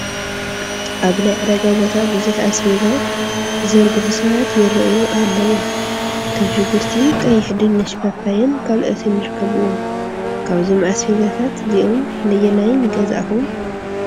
ኣብ ናይ ዕዳጋ ቦታ ብዙሕ ኣስቤዛ ዝዘርግሑ ሰባት ይራኣዩ ኣለው፡፡ ከም ሽጉርቲ ቀይሕ፣ ድንሽ፣ ፓፓየን ካልኦትን ይርከብዎም፡፡ ካብዞም ኣዝቤዛታት እዚኦም ነየናይ ንገዛእኹም?